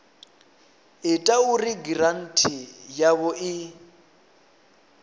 ita uri giranthi yavho i